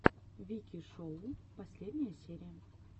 вики шоу последняя серия